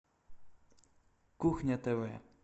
кухня тв